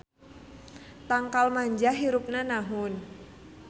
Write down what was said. Tangkal manjah hirupna nahun.